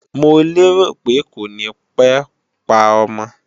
Mo lérò pé kò ní pé pa ọmọ